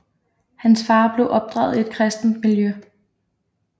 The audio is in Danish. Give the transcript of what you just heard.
Hans far blev opdraget i et kristent miljø